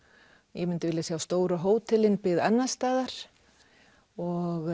ég myndi vilja sjá stóru hótelin byggð annars staðar og